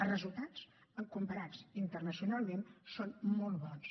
els resultats comparats internacionalment són molt bons